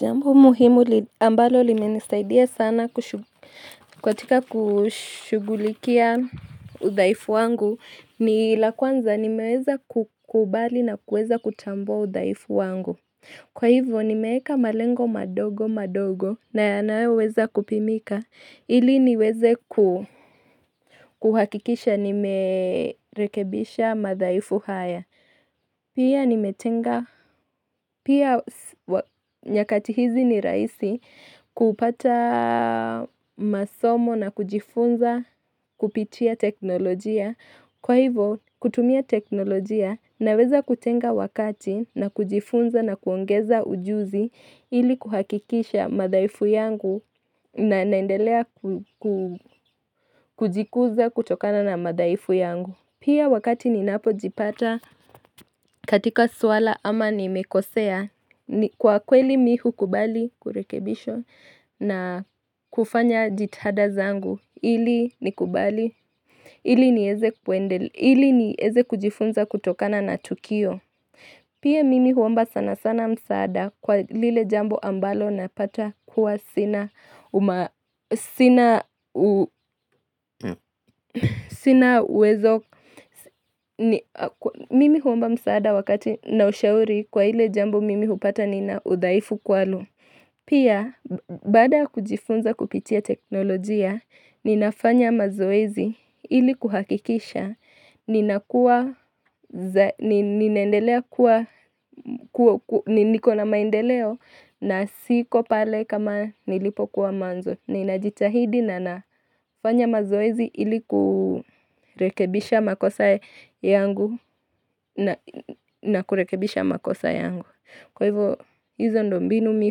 Jambo muhimu ambalo limenisaidia sana katika kushughulikia udhaifu wangu ni la kwanza nimeweza kukubali na kueza kutambua udhaifu wangu. Kwa hivyo nimeeka malengo madogo madogo na yanayoweza kupimika ili niweze kuhakikisha nimerekebisha madhaifu haya. Pia nimetenga, pia nyakati hizi ni rahisi kupata masomo na kujifunza kupitia teknolojia. Kwa hivo, kutumia teknolojia, naweza kutenga wakati na kujifunza na kuongeza ujuzi ili kuhakikisha madhaifu yangu na naendelea kujikuza kutokana na madhaifu yangu. Pia wakati ni napo jipata katika suala ama nimekosea, kwa kweli mi hukubali kurekebishwa na kufanya jitihada zangu ili nikubali ili nieze kujifunza kutokana na tukio. Pia mimi huomba sana sana msaada kwa lile jambo ambalo napata kuwa sina uwezo. Mimi huomba msaada wakati na ushauri kwa ile jambo mimi hupata nina udhaifu kwalo. Pia, baada ya kujifunza kupitia teknolojia, ninafanya mazoezi ili kuhakikisha, niko na maendeleo na siko pale kama nilipokuwa mwanzo. Ninajitahidi na nafanya mazoezi ilikurekebisha makosa yangu na kurekebisha makosa yangu. Kwa hivyo hizo ndio mbinu mi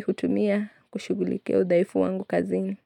hutumia kushugulikia udhaifu wangu kazini.